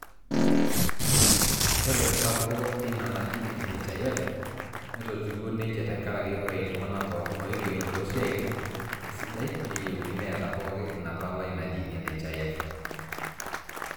ore esapuko ina naji nhif netotiwuo neija tenkaraki ore iltung'anak pooki ooigerro toosiatin esidai neyieuni neeta pooki ina palai naji nhif